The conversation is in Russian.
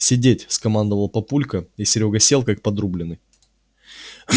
сидеть скомандовал папулька и серёга сел как подрубленный